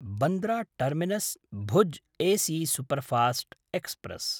Bandra टर्मिनस्–भुज् AC superfast express